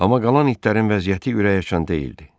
Amma qalan itlərin vəziyyəti ürəkaçan deyildi.